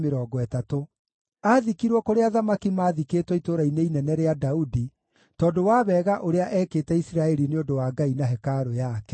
Aathikirwo kũrĩa athamaki maathikĩtwo Itũũra-inĩ Inene rĩa Daudi, tondũ wa wega ũrĩa ekĩte Isiraeli nĩ ũndũ wa Ngai na hekarũ yake.